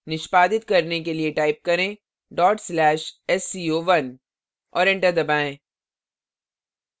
निष्पादित करने के लिए type करें/sco1 और enter दबाएँ